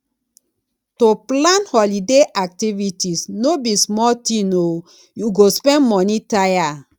to plan holiday activities no be small tin o you go spend moni tire